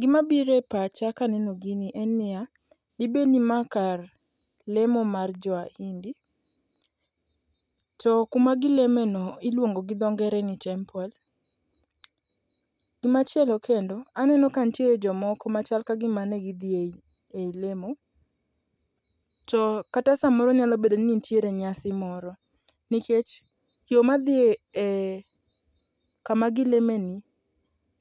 Gimabiro e pacha kaneno gini en niya, dibedni ma kar lemo mar Joahindi to kumagilemeno iluongo gi dho ngere ni temple. Gimachielo kendo aneno kantie jomoko machal kagima ne gidhi e i lemo to kata samoro nyalo bedo ni ntiere nyasi moro nikech yo madhi e kama gilemeni